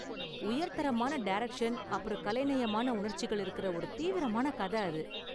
உயர்தரமான டைரக்ஷன் அப்பறம் கலைநயமான உணர்ச்சிகள் இருக்கற ஒரு தீவிரமான கத அது.